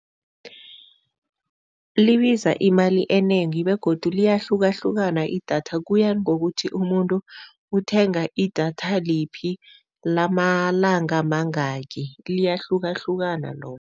Libiza imali enengi begodu liyahlukahlukana idatha. Kuya ngokuthi umuntu uthenga idatha liphi, lamalanga mangakhi, liyahlukahlukana lona.